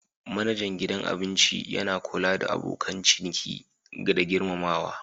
Manajan gidan abinci yana kula da abokan ciniki da girmamawa.